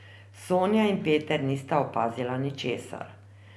Sonja in Peter nista opazila ničesar.